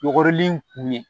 Yɔgɔrilen k'u ye